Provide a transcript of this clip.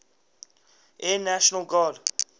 air national guard